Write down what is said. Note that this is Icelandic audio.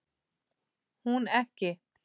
Hún ekki.